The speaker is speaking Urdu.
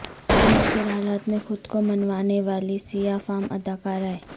مشکل حالات میں خود کو منوانے والی سیاہ فام اداکارائیں